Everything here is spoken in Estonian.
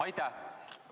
Aitäh!